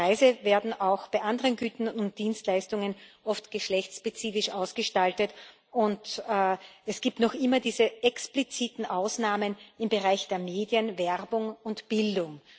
Die Preise werden auch bei anderen Gütern und Dienstleistungen oft geschlechtsspezifisch ausgestaltet, und es gibt noch immer diese expliziten Ausnahmen im Bereich der Medien, Werbung und Bildung.